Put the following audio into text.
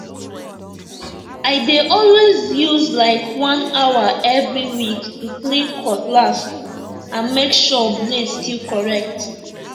i dey always use like one hour every week to clean cutlass and make sure blade still correct